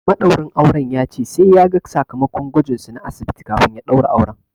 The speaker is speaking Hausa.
Maɗaurin auren ya ce sai ya ga sakamakon gwajin su na asibiti kafin ya ɗaura auren.